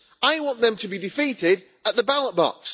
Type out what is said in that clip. I want them to be defeated at the ballot box.